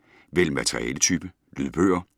Vælg materialetype: lydbøger